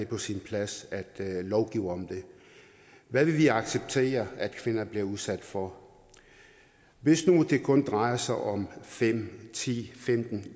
på sin plads at lovgive om det hvad vil vi acceptere at kvinder bliver udsat for hvis nu det kun drejer sig om fem ti femten